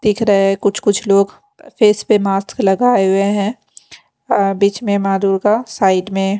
दिख रहे है कुछ कुछ लोग प फेस पे मास्क लगाए हुए हैं बीच में माँ दुर्गा साइड में --